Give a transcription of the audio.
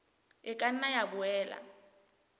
e ka nna ya boela